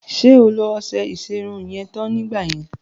Ṣé o lo ọṣẹ ìṣerun yẹn tán nígbà yẹn?